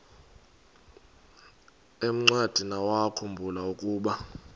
encwadiniwakhu mbula ukuba